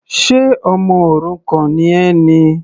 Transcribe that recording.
Ṣe ọmọ òrukàn ni ẹ ni?